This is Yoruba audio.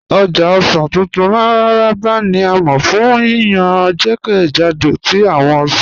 Ọ̀já ọ̀ṣàn tuntun Mararaba ni a mọ fun yíyàn jẹ́kẹ́jàdó tí awọn ọ̀ṣàn